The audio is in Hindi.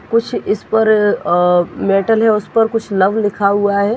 कुछ इस पर अ मेटल है उस पर कुछ लव लिखा हुआ है।